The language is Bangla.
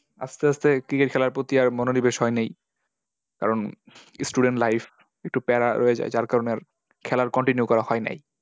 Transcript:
আস্তে আস্তে cricket খেলার প্রতি আর মনোনিবেশ হয় নাই । কারণ, student life একটু প্যারা রয়ে যায়। যার কারণে আর খেলা continue করা হয় নাই।